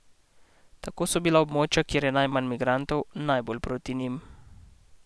Tako so bila območja, kjer je najmanj migrantov, najbolj proti njim.